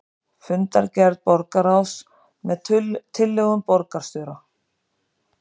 Fundargerð borgarráðs með tillögum borgarstjóra